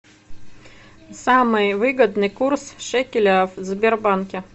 самый выгодный курс шекеля в сбербанке